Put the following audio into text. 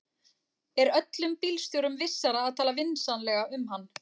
Er öllum bílstjórum vissara að tala vinsamlega um hann.